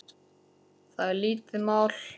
Það er lítið mál.